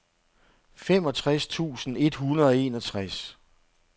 femogtres tusind et hundrede og enogtres